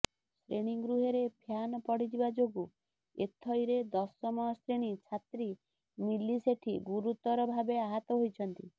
ଶ୍ରେଣୀଗୃହରେ fan ପଡିଯିବା ଯୋଗୁଁ ଏଥଇରେ ଦଶମ ଶ୍ରେଣୀ ଛାତ୍ରୀ ମିଲି ସେଠୀ ଗୁରୁତର ଭାବେ ଆହତ ହୋଇଛନ୍ତି